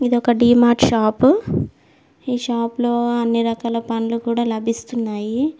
ఇది ఒక డి మార్ట్ షాపు ఈ షాప్ లో అన్ని రకాల పండ్లు కూడా లభిస్తున్నాయి.